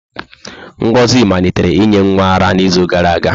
Ngozi malitere inye nwa ara n'izu gara aga.